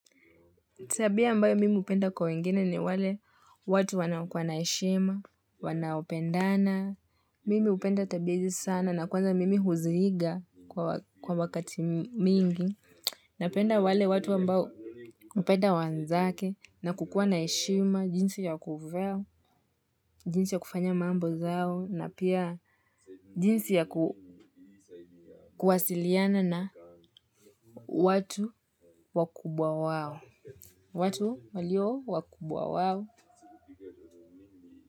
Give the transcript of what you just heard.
Tabia ambayo mimi hupenda kwa wengine ni wale watu wanaokuwa na heshima, wanaopendana, mimi hupenda tabia hizi sana na kwanza mimi huziiga kwa wakati mingi, napenda wale watu ambao hupenda wenzake na kukuwa na heshima jinsi ya kuvaa jinsi ya kufanya mambo zao na pia jinsi ya kuwasiliana na watu wakubwa wao, watu walio wakubwa wao.